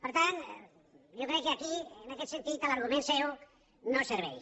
per tant jo crec que aquí en aquest sentit l’argument seu no serveix